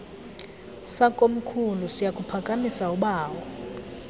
sakomkhulu siyakuphakamisa ubawo